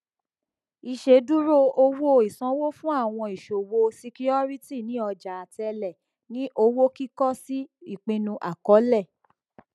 ìṣèdúró owó ìsanwó fún àwọn ìṣòwò ṣíkíórítì ní ọjà àtẹlé ní owó kìkọ sí ìpinnu àkọọlẹ